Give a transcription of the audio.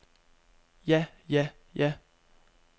ja ja ja